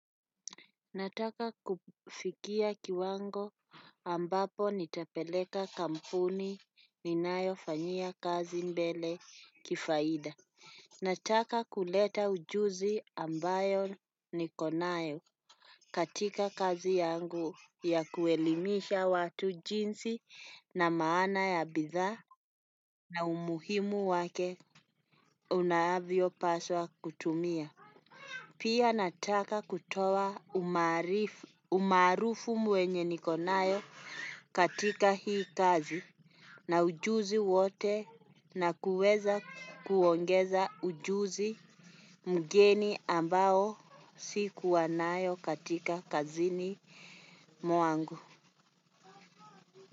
Nataka kufikia kiwango ambapo nitapeleka kampuni ninayofanyia kazi mbele kifaida. Nataka kuleta ujuzi ambayo ni konayo katika kazi yangu ya kuelimisha watu jinsi na maana ya bidhaa na umuhimu wake unaavyo paswa kutumia. Pia nataka kutowa umaarifu umarufu mwenye nikonayo katika hii kazi na ujuzi wote na kuweza kuongeza ujuzi mgeni ambao sikuwa nayo katika kazini mwangu.